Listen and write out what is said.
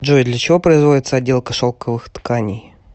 джой для чего производится отделка шелковых тканей